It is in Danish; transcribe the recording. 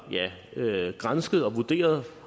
gransket og vurderet